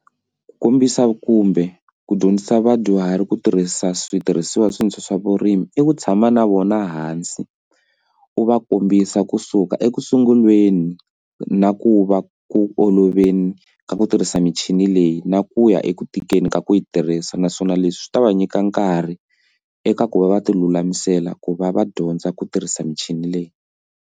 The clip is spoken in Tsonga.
Ku kombisa kumbe ku dyondzisa vadyuhari ku tirhisa switirhisiwa leswintshwa swa vurimi i ku tshama na vona hansi u va kombisa kusuka ekusunguleni na ku va ku oloveli ku tirhisa michini leyi na ku ya eku tikeni ka ku yi tirhisa naswona leswi swi ta va nyika nkarhi eka ku va va ti lulamisela ku va va dyondza ku tirhisa michini leyi.